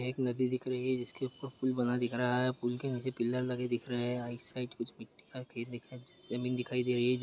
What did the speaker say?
एक नदी दिख रही है जिसके ऊपर एक पुल बना दिख रहा है पुल के नीचे पिल्लर लगे दिख रहे है राईट साइड कुछ मिट्टी का खेत दिखाई जमीन दिखाई दे रही है।